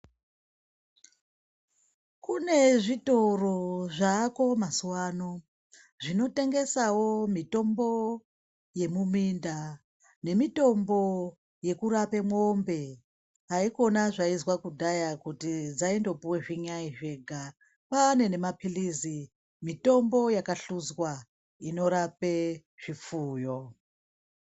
Kune zvitoro zvaako MaZuwa ano zvinotengesawo mitombo yemiminda nemitombo yekurape mwombe haikona zvaizwa kudhaya kuti dzaindopuwe zvinyayi zvega kwaane nemapilizi mutombo yakahluzwa Inorape zvipfuyo.